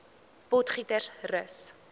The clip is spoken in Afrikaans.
potgietersrus